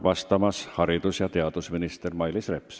Vastab haridus- ja teadusminister Mailis Reps.